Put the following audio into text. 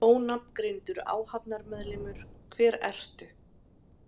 Ónafngreindur áhafnarmeðlimur: Hver ertu?